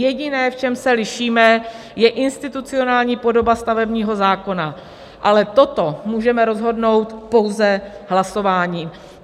Jediné, v čem se lišíme, je institucionální podoba stavebního zákona, ale toto můžeme rozhodnout pouze hlasováním.